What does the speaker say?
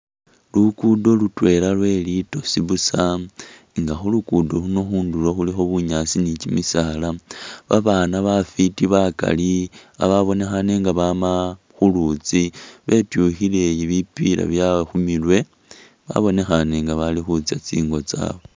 Luguddo lutwela lwelitosi buusa nga khulugudo khuno khundulo khulikho bunyaasi ni kimisaala, babana bafiti bakaali bababinekhane nga bama khulutsi betyukhile bipila byewe khumurwe babonekhane nga balikhutsa tsingo tsabwe